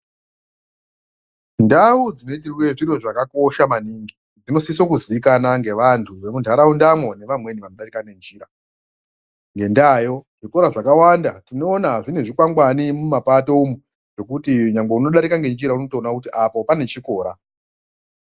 Ndau dzinoitirwe zviro zvakakosha maningi dzinosise kuziikanwa ngevantu vemuntaraundamwo, nevamweni vanodarika ngenjira. Ngendaayo, zvikora zvakawanda tinoona zvine zvikwangwani mumapato umwo, zvekuti unodarika nenjira unotoona kuti apo pane chikora.